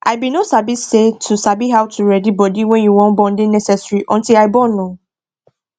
i bin no sabi say to sabi how to ready body wen you wan born dey necessary until i born ooo